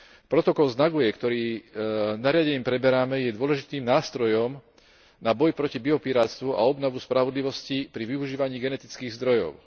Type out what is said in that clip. Protokol z Nagoje, ktorý nariadením preberáme, je dôležitým nástrojom na boj proti biopirátsvu a obnovu spravodlivosti pri využívaní genetických zdrojov.